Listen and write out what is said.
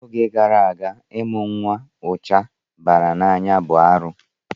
N'oge gara aga, ịmụ nwa ụcha bara n'anya bụ arụ.